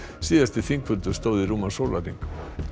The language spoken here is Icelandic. síðasti þingfundur stóð í rúman sólarhring